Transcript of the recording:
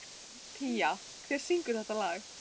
Pía, hver syngur þetta lag?